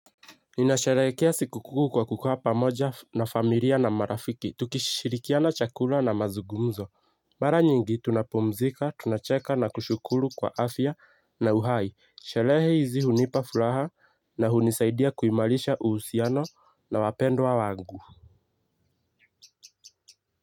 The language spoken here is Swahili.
Ninasherehekea siku kuu kwa kukua pamoja na familia na marafiki. Tukishirikiana chakula na mazugumzo. Mara nyingi tunapumzika, tunacheka na kushukuru kwa afya na uhai. Sherehe hizi hunipa furaha na hunisaidia kuimarisha uhusiano na wapendwa wangu.